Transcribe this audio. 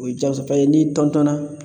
O ye ja fɛn ye n'i na